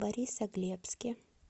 борисоглебске